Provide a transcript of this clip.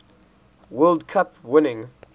world cup winning